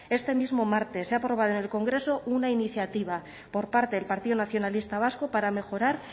este mismo martes se ha aprobado en el congreso una iniciativa por parte del partido nacionalista vasco para mejorar